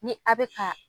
Ni a bɛ ka